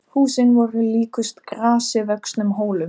Húsin voru líkust grasi vöxnum hólum.